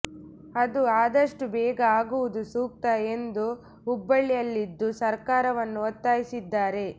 ಅದು ಆದಷ್ಟು ಬೇಗ ಆಗುವುದು ಸೂಕ್ತ ಎಂದು ಹುಬ್ಬಳ್ಳಿ ಯಲ್ಲಿಂದು ಸರ್ಕಾರವನ್ನು ಒತ್ತಾಯಿಸಿದ್ದಾರೆ